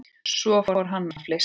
Svo fór hann að flissa.